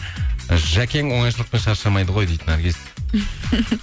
жәкең оңайшылықпен шаршамайды ғой дейді наргиз